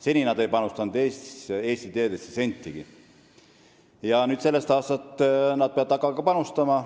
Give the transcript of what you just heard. Seni ei panustanud nad Eesti teedesse sentigi, sellest aastast peavad nad hakkama panustama.